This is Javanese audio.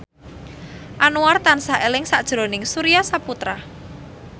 Anwar tansah eling sakjroning Surya Saputra